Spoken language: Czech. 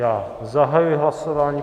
Já zahajuji hlasování.